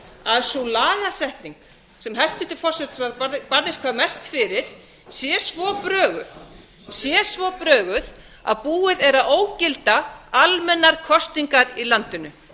að sú lagasetning sem hæstvirtur forsætisráðherra barðist hvað mest fyrir sé svo broguð sé svo broguð að búið er að ógilda almennar kosningar í landinu